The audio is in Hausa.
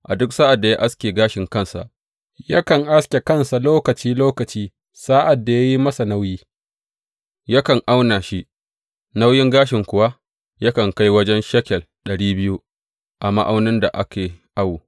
A duk sa’ad da ya aske gashin kansa yakan aske kansa lokaci lokaci sa’ad da ya yi masa nauyi yakan auna shi, nauyin gashin kuwa yakan kai wajen shekel ɗari biyu a ma’aunin da ake awo.